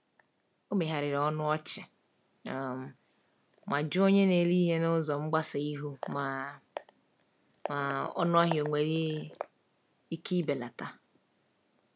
O megharịrị ọnụ ọchị um ma jụọ onye na-ere ihe n’ụzọ mgbasa ihu ma um ọnụahịa onwere ike ibelata.